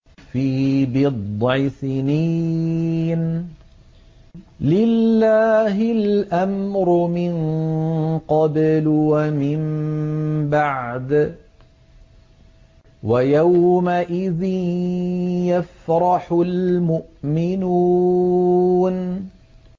فِي بِضْعِ سِنِينَ ۗ لِلَّهِ الْأَمْرُ مِن قَبْلُ وَمِن بَعْدُ ۚ وَيَوْمَئِذٍ يَفْرَحُ الْمُؤْمِنُونَ